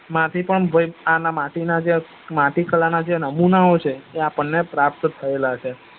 માંથી પણ ભાઈ ભાઈ અત્યારે માટી ના જે માટી કળા ના જે નમૂનાઓ છે એ આપડ ને પ્રાપ્ત થયેલા છે